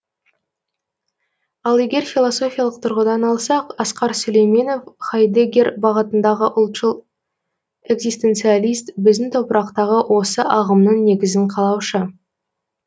ал егер философиялық тұрғыдан алсақ асқар сүлейменов хайдеггер бағытындағы ұлтшыл экзистенциалист біздің топырақтағы осы ағымның негізін қалаушы